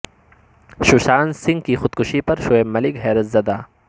ششانت سنگھ کی خودکشی پر شعیب ملک حیرت زدہ